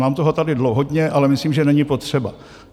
Mám toho tady hodně, ale myslím, že není potřeba.